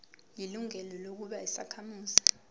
ilungelo lokuba yisakhamuzi